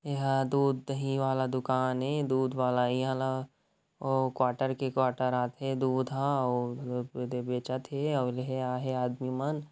यहाँ दूध-दही वाला दुकान है दूधवाला ओ_ क्वाटर के क्वाटर आथे दूध ह बेचत है ये हा लेहे आये हे आदमी मन--